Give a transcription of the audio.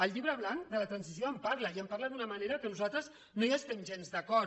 el llibre blanc de la transició en parla i en parla d’una manera amb què nosaltres no estem gens d’acord